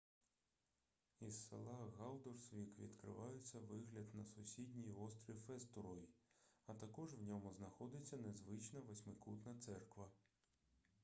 із села галдорсвік відкривається вигляд на сусідній острів естурой а також в ньому знаходиться незвична восьмикутна церква